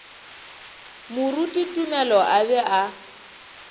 moruti tumelo a be a